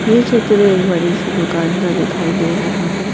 ये चित्र एक बड़ी सी दुकान का दिखाई दे रहा है।